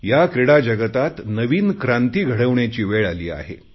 या क्रीडा जगतात नवीन क्रांती घडवण्याची वेळ आली आहे